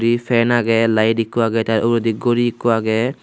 ee fan agey light ikko agey tey uredi gori ikko agey.